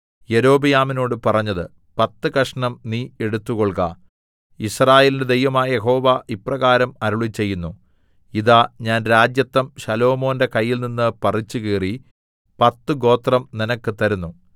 യൊരോബെയാമിനോട് പറഞ്ഞത് പത്ത് കഷണം നീ എടുത്തുകൊൾക യിസ്രായേലിന്റെ ദൈവമായ യഹോവ ഇപ്രകാരം അരുളിച്ചെയ്യുന്നു ഇതാ ഞാൻ രാജത്വം ശലോമോന്റെ കയ്യിൽനിന്ന് പറിച്ചുകീറി പത്തു ഗോത്രം നിനക്ക് തരുന്നു